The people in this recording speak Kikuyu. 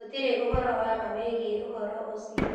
Gũtirĩ ũhoro wa ma wĩgiĩ ũhoro ũcio.